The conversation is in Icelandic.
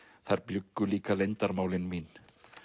þar bjuggu líka leyndarmálin mín